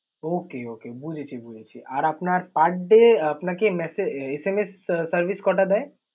Okay, okay বুঝেছি বুঝেছি। আর আপনার per day আপনাকে messa~ SMS service কটা দেয়?